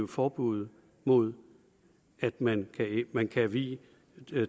forbuddet mod at man man kan vie